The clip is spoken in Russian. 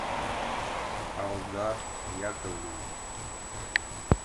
алдар яковлевич